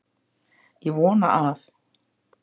Ég vona að